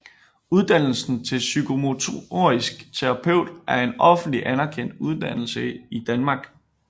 Uddannelsen til Psykomotorisk terapeut er en offentlig anerkendt uddannelse i Danmark